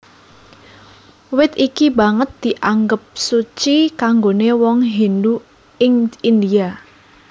Wit iki banget dianggep suci kanggoné wong Hindu ing India